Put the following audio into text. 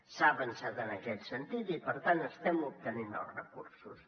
s’ha avançat en aquest sentit i per tant estem obtenint els recursos